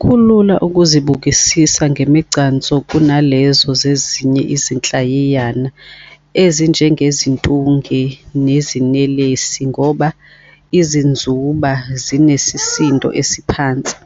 kulula ukuzibukisisa ngemigcanso kunalezo zezinye izinhlayiyana ezinjengeziNtunge neziNelesi ngoba izinzuba zinesisindo esiphansi,